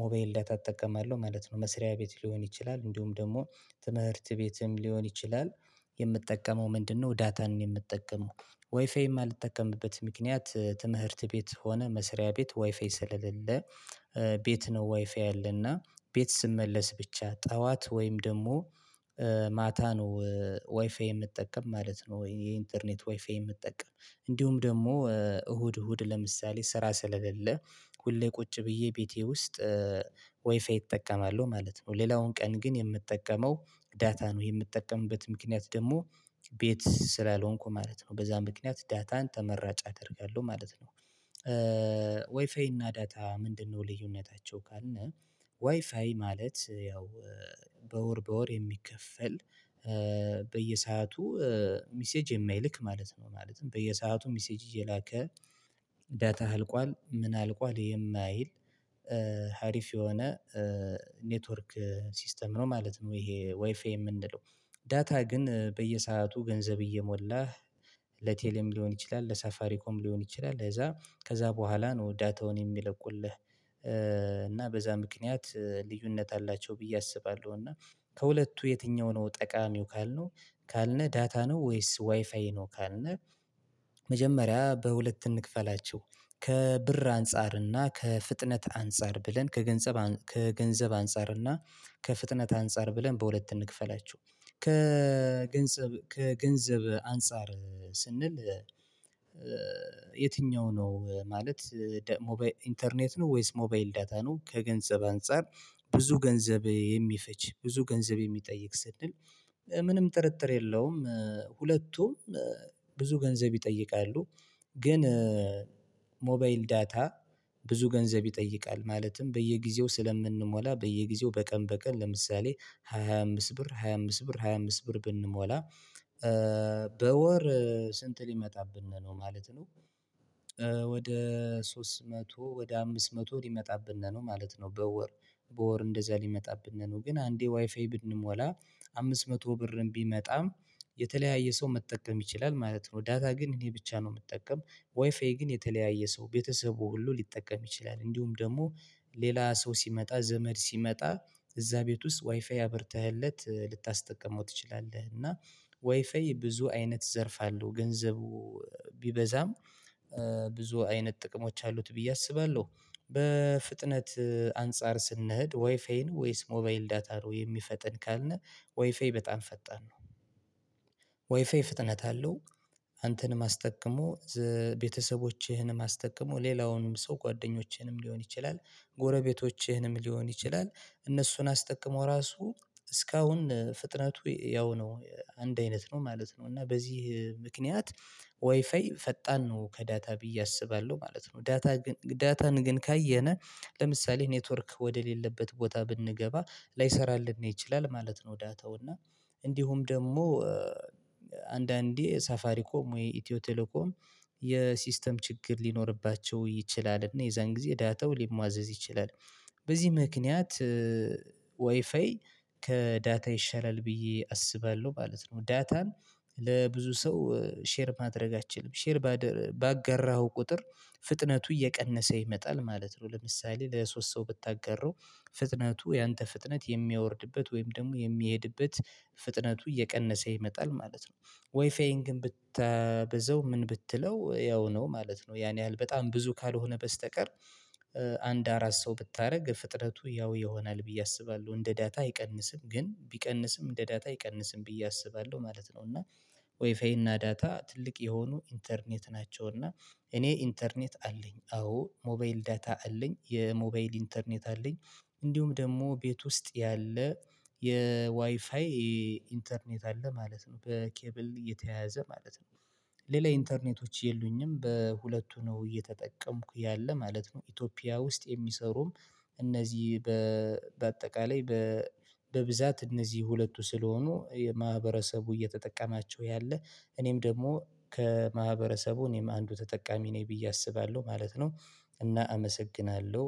ሞባይል ዳታ እጠቀማለሁ ማለት ነው። መስሪያ ቤት ሊሆን ይችላል እንዲሁም ደግሞ ትምህርት ቤትም ሊሆን ይችላል። የምጠቀመው ምንድነው ዳታን ነው የምጠቀመው። ወይፋይ የማልጠቀምበት ምክንያት ትምህርት ቤት ሆነ መስሪያ ቤት ወይፋይ ስለሌለ። ቤት ነው ዋይፋይ ያለና ቤት ስመለስ ብቻ ጠዋት ወይም ደግሞ ማታ ነው ዋይፋይ የምጠቀም ማለት ነው። የኢንተርኔት ዋይፋይ የምጠቀም እንዲሁም ደግሞ እሁድ እሁድ ለምሳሌ ስራ ስለሌለ ሁሌ ቁጭ ብዬ ቤቴ ውስጥ ወይፋይ እጠቀማለሁ ማለት ነው። ሌላውን ቀን ግን የምጠቀመው ዳታ ነው የምጠቀምበት ምክንያት ደግሞ ቤት ስላልሆንኩ ማለት ነው በዛ ምክንያት ዳታን ተመራጭ አደርጋለሁ ማለት ነው። ወይፋይ እና ዳታ ምንድነው ልዩነታቸው ካልነ? ዋይፋይ ማለት ያው በወር በወር የሚከፈል በየሰአቱ ሚሴጅ የማይልክ ማለት ነው። ማለትም በየሰአቱ ሚሴጅ እየላከ ዳታህ አልቋል ምን አልቋል የማይል ሀሪፍ የሆነ ኔትወርክ ሲስተም ነው ማለት ነው። ይሄ ዋይፋይ የምንለው ዳታ ግን በየሰአቱ ገንዘብ እየሞላህ ለቴሌም ሊሆን ይችላል ለሳፋሪኮም ሊሆን ይችላል። ከዛ በኋላ ነው ዳታውን የሚለቁልህ እና በዛ ምክንያት ልዩነት አላቸው ብዬ አስባለሁ። እና ከሁለቱ የትኛው ነው ጠቃሚው ካልነ? ዳታ ነው ወይስ ዋይፋይ ነው ካልነ? መጀመሪያ በሁለት እንክፈላችሁ ከብር አንፃር እና ከፍጥነት አንፃር ብለን ከገንዘብ ከገንዘብ አንፃር እና ከፍጥነት አንፃር ብለን በሁለት እንክፈላችሁ። ከገንዘብ ከገንዘብ አንፃር ስንል የትኛው ነው ማለት ኢንተርኔት ነው ወይስ ሞባይል ዳታ ነው ከገንዘብ አንፃር? ብዙ ገንዘብ የሚፈጅ ብዙ ገንዘብ የሚጠይቅ ስንል ምንም ጥርጥር የለውም ሁለቱም ብዙ ገንዘብ ይጠይቃሉ። ግን ሞባይል ዳታ ብዙ ገንዘብ ይጠይቃል ማለትም በየጊዜው ስለምንሞላ በየጊዜው በቀን በቀን ለምሳሌ 25 ብር 25 ብር 25 ብር ብንሞላ በወር ስንት ሊመጣብን ነው ማለት ነው። ወደ ሶስት መቶ ወደ አምስት መቶ ሊመጣብን ነው ማለት ነው። በወር በወር እንደዛ ሊመጣብነ ነው ግን አንዴ ዋይፋይ ብንሞላ አምስት መቶ ብርም ቢመጣም የተለያየ ሰው መጠቀም ይችላል ማለት ነው። ዳታ ግን እኔ ብቻ ነው የምጠቀም ወይፋይ ግን የተለያየ ሰው ቤተሰቡ ሁሉ ሊጠቀም ይችላል እንዲሁም ደግሞ ሌላ ሰው ሲመጣ ዘመድ ሲመጣ እዛ ቤት ውስጥ ዋይፋይ አብርተህለት ልታስጠቅመው ትችላለህ። እና ዋይፋይ ብዙ አይነት ዘርፋ አለው ገንዘቡ ቢበዛም ብዙ አይነት ጥቅሞች አሉት ብዬ አስባለሁ። በፍጥነት አንፃር ስንሄድ ወይፋይን ወይስ ሞባይል ዳታ ነው የሚፈጥን ካልነ? ወይፋይ በጣም ፈጣን ነው። ፍጥነት አለው አንተንም አስጠቅሞ ቤተሰቦችህንም አስጠቅሞ ሌላውንም ሰው ጓደኞችህንም ሊሆን ይችላል ጎረቤቶችህንም ሊሆን ይችላል እነሱን አስጠቅሞ ራሱ እስካሁን ፍጥነቱ ያው ነው አንድ አይነት ነው ማለት ነው። እና በዚህ ምክንያት ዋይፋይ ፈጣን ነው ከዳታ ብዬ አስባለሁ ማለት ነው። ዳታን ግን ካየነ ለምሳሌ ኔትወርክ ወደሌለበት ቦታ ብንገባ ላይሰራልን ይችላል ማለት ነው። ዳታው እና እንዲሁም ደግሞ አንዳንዴ ሳፋሪኮም ወይ ኢትዮ ቴሌኮም የሲስተም ችግር ሊኖርባቸው ይችላል እና የዛን ጊዜ ዳታው ሊሟዘዝ ይችላል። በዚህ ምክንያት ወይፋይ ከዳታ ይሻላል ብዬ አስባለሁ ማለት ነው። ዳታን ለብዙ ሰው ሼር ማድረግ አትችልም። ሼር ባጋራሀው ቁጥር ፍጥነቱ እየቀነሰ ይመጣል ማለት ነው። ለምሳሌ ለሶስት ሰው ብታጋራው ፍጥነቱ ያንተ ፍጥነት የሚያወርድበት ወይም ደግሞ የሚሄድበት ፍጥነቱ እየቀነሰ ይመጣል ማለት ነው። ወይፋይን ግን ብታበዛው ምን ብትለው ያው ነው ማለት ነው። ያን ያህል በጣም ብዙ ካልሆነ በስተቀር አንድ አራት ሰው ብታደርግ ፍጥነቱ ያው ይሆናል ብዬ አስባለሁ እንደ ዳታ አይቀንስም ግን ቢቀንስም እንደ ዳታ አይቀንስም ብዬ አስባለሁ ማለት ነው። እና ወይፋይ እና ዳታ ትልቅ የሆኑ ኢንተርኔት ናቸው። እና እኔ ኢንተርኔት አለኝ አዎ ሞባይል ዳታ አለኝ የሞባይል ኢንተርኔት አለኝ። እንዲሁም ደግሞ ቤት ውስጥ ያለ የዋይፋይ ኢንተርኔት አለ ማለት ነው። በኬብል የተያዘ ማለት ነው። ሌላ ኢንተርኔቶች የሉኝም በሁለቱ ነው እየተጠቀምኩ ያለ ማለት ነው። ኢትዮጵያ ውስጥ የሚሰሩም እነዚህ በአጠቃላይ በብዛት እነዚህ ሁለቱ ስለሆኑ የማህበረሰቡ እየተጠቀማቸው ያለ እኔም ደግሞ ከማህበረሰቡ እኔም አንዱ ተጠቃሚ ነኝ ብዬ አስባለሁ ማለት ነው። እና አመሰግናለሁ።